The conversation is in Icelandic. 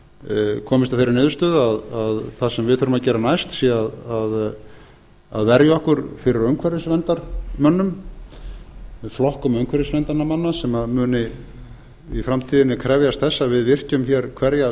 reikniheila komist að þeirri niðurstöðu að það sem við þurfum að gera næst sé að verja okkur fyrir umhverfisverndarmönnum flokkum umhverfisverndarmanna sem muni í framtíðinni krefjast þess að við virkjum hér hverja